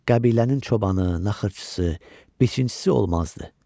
Qəbilənin çobanı, naxırçısı, biçincisi olmazdı.